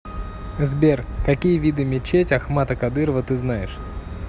сбер какие виды мечеть ахмата кадырова ты знаешь